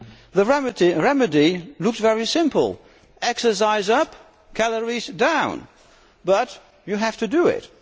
The remedy looks very simple exercise up, calories down, but you have to do it.